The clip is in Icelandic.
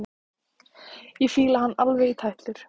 Ég fíla hann alveg í tætlur!